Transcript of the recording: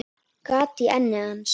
Gat í enni hans.